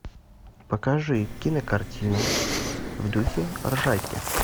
покажи кинокартину в духе ржаки